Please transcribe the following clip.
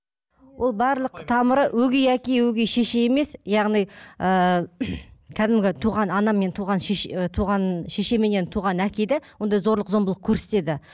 ол барлық тамыры өгей әке өгей шеше емес яғни ыыы кәдімгі туған ана мен туған ы туған шешеменен туған әке де ондай зорлық зомбылық көрсетеді